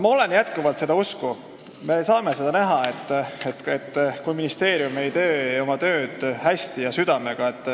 Ma olen jätkuvalt seda usku, et me saame seda näha, kui ministeerium ei tee oma tööd hästi ja südamega.